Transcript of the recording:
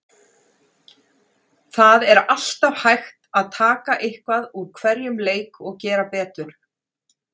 Það er alltaf hægt að taka eitthvað úr hverjum leik og gera betur.